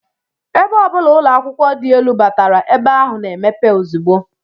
Ebe ọ bụla ụlọakwụkwọ dị elu batara, ebe ahụ na-emepe ozugbo